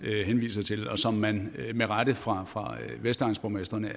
henviser til og som man med rette fra fra vestegnsborgmestrenes